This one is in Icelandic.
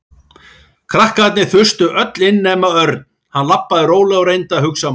Krakkarnir þustu öll inn nema Örn. Hann labbaði rólega og reyndi að hugsa málið.